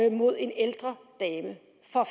imod en ældre dame